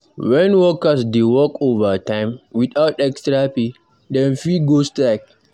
When workers dey work overtime without extra pay, dem fit go strike.